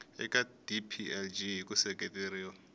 eka dplg hi ku seketeriwa